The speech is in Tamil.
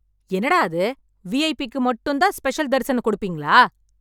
என்னடா அது வி ஐ பிக்கு மட்டும் தான் ஸ்பெஷல் தரிசனம் கொடுப்பீங்களா